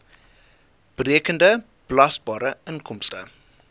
berekende belasbare inkomste